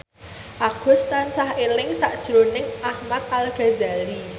Agus tansah eling sakjroning Ahmad Al Ghazali